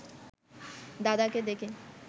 দাদাকে দেখে